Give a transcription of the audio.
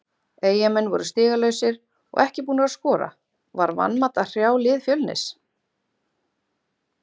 Eyjamenn voru stigalausir og ekki búnir að skora, var vanmat að hrjá lið Fjölnis?